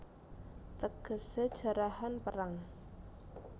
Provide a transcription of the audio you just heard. Tegesé Jarahan Perang